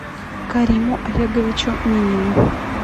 кариму олеговичу минину